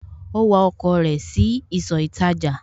Ó wa ọkọ̀ rẹ̀ sí ìsọ̀ ìtajà